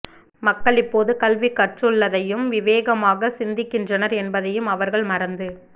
மக்கள் இப்போது கல்வி கற்றுள்ளதையும் விவேகமாகச் சிந்திக்கின்றனர் என்பதையும் அவர்கள் மறந்து